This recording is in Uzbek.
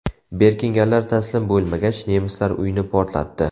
Berkinganlar taslim bo‘lmagach, nemislar uyni portlatdi.